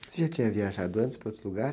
Você já tinha viajado antes para outro lugar?